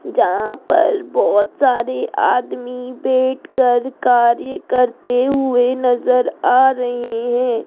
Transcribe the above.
जहां पर बहोत सारे आदमी बैठकर कार्य करते हुए नजर आ रहे हैं।